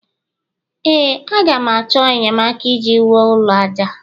ee, a ga m achọ enyemaka iji wuo ụlọ aja a